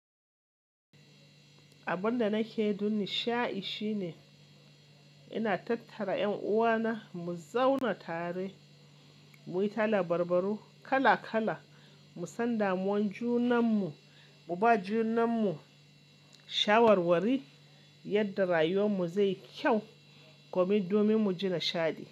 Abin da nakeyi dunni sha'i shine ina tattara 'yan uwana mu zauna tare, muyi ta labarbaru kala-kala, musanda muwan junan mu, mu ba junan mu shawarwari yadda rayuwar mu zai kyau komin domin mu ji nishaɗi.